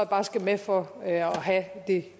bare skal med for at have